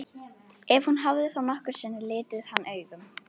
Ef hún hafði þá nokkru sinni litið hann augum.